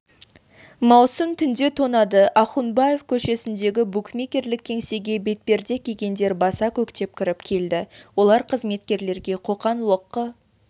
маусым түнде тонады ахунбабаев көшесіндегі букмекерлік кеңсеге бетперде кигендер баса көктеп кіріп келді олар қызметкерлерге қоқан-лоққы